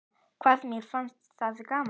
Hvað mér fannst það gaman.